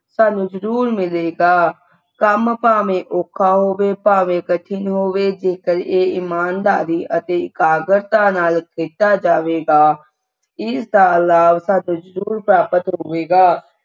ਸਾਨੂੰ ਜਰੂਰ ਮਿਲੇਗਾ ਕੰਮ ਭਾਵੇਂ ਔਖਾ ਹੋਵੇ ਭਾਵੇਂ ਕਠਿਨ ਹੋਵੇ ਜੇਕਰ ਇਹ ਇਮਾਨਦਾਰੀ ਅਤੇ ਇਕਾਗਰਤਾ ਨਾਲ ਕੀਤਾ ਜਾਵੇਗਾ ਇਸ ਦਾ ਲਾਭ ਸਾਨੂੰ ਜਰੂਰ ਪ੍ਰਾਪਤ ਹੋਵੇਗਾ